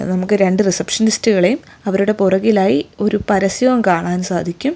നമുക്ക് രണ്ടു റിസപ്ഷനിസ്റ്റുകളെയും അവരുടെ പുറകിലായി ഒരു പരസ്യവും കാണാൻ സാധിക്കും.